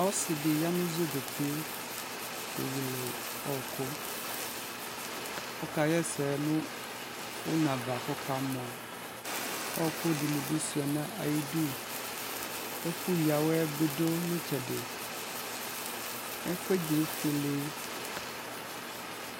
ɔsidiya nu zɔbɔpɛ kɛ wɛlɛ ɔku ɔkayɛsɛ nu fɔmuva kamɔ ɔkudinidi nayibu ɛfuyawɛbu nu itsɛdi ɛfɛdi efuɛlɛ